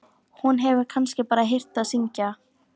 Hún hefur kannski bara heyrt það syngja.